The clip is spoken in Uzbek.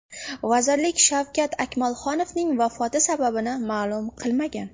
Vazirlik Shavkat Akmalxonovning vafoti sababini ma’lum qilmagan.